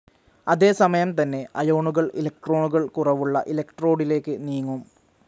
അതേസമയം തന്നെ അയോണുകൾ ഇലക്ട്രോണുകൾ കുറവുള്ള ഇലക്ട്രോഡിലേക്ക് നീങ്ങും.